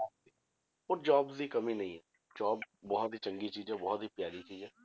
ਔਰ jobs ਦੀ ਕਮੀ ਨਹੀਂ ਹੈ job ਬਹੁਤ ਹੀ ਚੰਗੀ ਚੀਜ਼ ਹੈ ਬਹੁਤ ਹੀ ਪਿਆਰੀ ਚੀਜ਼ ਹੈ,